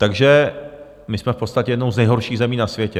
Takže my jsme v podstatě jednou z nejhorších zemí na světě.